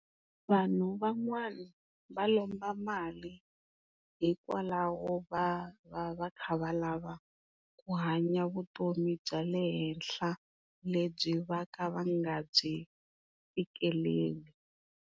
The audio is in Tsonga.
Vanhu van'wana va lomba mali hikwalaho va va kha va lava ku hanya vutomi bya le henhla lebyi va kha va nga byi fikeleli.